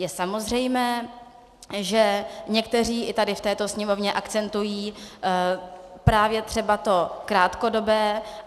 Je samozřejmé, že někteří i tady v této Sněmovně akcentují právě třeba to krátkodobé.